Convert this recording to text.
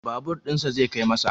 Babur ɗinsa zai kai masa